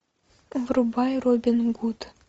врубай робин гуд